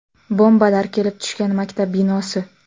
Bombalar kelib tushgan maktab binosi.